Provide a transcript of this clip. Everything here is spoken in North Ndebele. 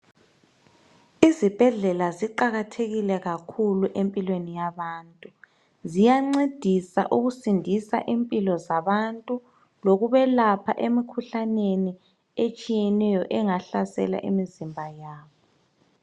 Izibhedlela ziqakathekile kakhulu empilweni yabantu. Ziyancedisa ukusindisa impilo zabantu , lokubelapha emkhuhlaneni etshiyeneyo engahlasela imizimba yabo.